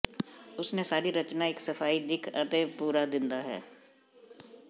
ਉਸ ਨੇ ਸਾਰੀ ਰਚਨਾ ਇੱਕ ਸਫ਼ਾਈ ਦਿੱਖ ਅਤੇ ਪੂਰਾ ਦਿੰਦਾ ਹੈ